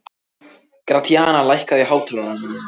Gratíana, lækkaðu í hátalaranum.